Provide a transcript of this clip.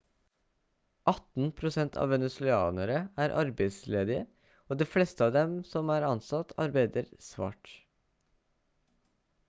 18 prosent av venezuelanere er arbeidsledige og de fleste av dem som er ansatt arbeider svart